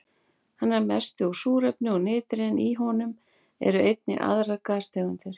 Hann er að mestu úr súrefni og nitri en í honum eru einnig aðrar gastegundir.